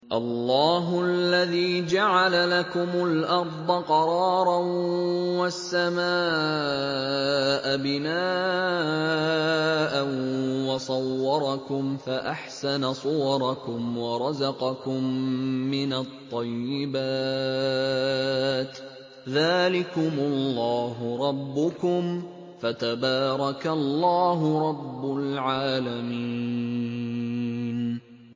اللَّهُ الَّذِي جَعَلَ لَكُمُ الْأَرْضَ قَرَارًا وَالسَّمَاءَ بِنَاءً وَصَوَّرَكُمْ فَأَحْسَنَ صُوَرَكُمْ وَرَزَقَكُم مِّنَ الطَّيِّبَاتِ ۚ ذَٰلِكُمُ اللَّهُ رَبُّكُمْ ۖ فَتَبَارَكَ اللَّهُ رَبُّ الْعَالَمِينَ